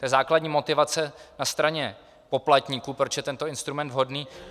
To je základní motivace na straně poplatníků, proč je tento instrument vhodný.